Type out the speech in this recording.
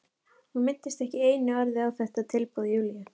Hún minntist ekki einu orði á þetta tilboð Júlíu.